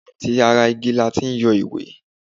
atí ará igí latí yọ ìwé